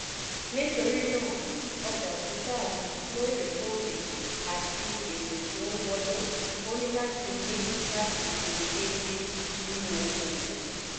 nítorí náà ọjà títà lóòrèkóòrè àti èèrè tí ó ń wọlé: ó ní láti ní láti ṣe déédé nínú okòwò.